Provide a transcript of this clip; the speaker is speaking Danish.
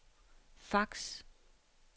fax